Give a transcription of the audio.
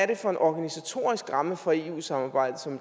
er for en organisatorisk ramme for eu samarbejdet som